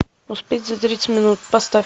успеть за тридцать минут поставь